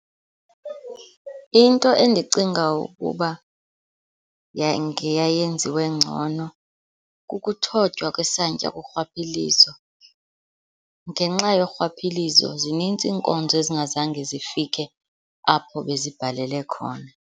Into endicinga ukuba ngeyayenziwe ngcono kukuthotywa kwensantya kurhwaphilizo. Ngenxa yorhwaphilizo zininzi iinkonzo ezingazange zifike apho bezibhalele khona.